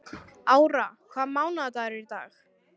Ára, hvaða mánaðardagur er í dag?